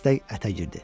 Dəstək ətə girdi.